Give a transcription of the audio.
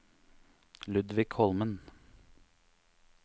Ludvig Holmen